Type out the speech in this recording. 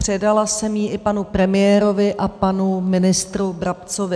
Předala jsem ji i panu premiérovi a panu ministru Brabcovi.